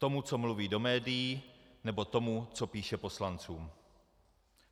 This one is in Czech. Tomu, co mluví do médií, nebo tomu, co píše poslancům.